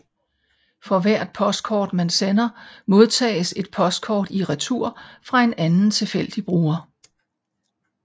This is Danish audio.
For hvert postkort man sender modtages et postkort i retur fra en anden tilfældig bruger